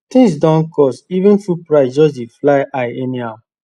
things don cost even food price just dey fly high anyhow